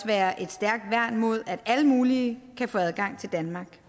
være et stærkt værn mod at alle mulige kan få adgang til danmark